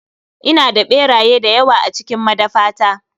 Ina da ɓeraye dayawa a cikin madafata.